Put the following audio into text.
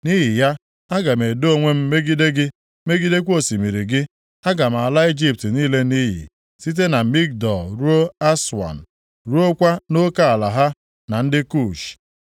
Nʼihi ya, aga m edo onwe m megide gị, megidekwa osimiri gị. Aga m ala Ijipt niile nʼiyi site na Migdol ruo Aswan, ruokwa nʼoke ala ha na ndị Kush. + 29:10 Ya bụ, mgbago Naịl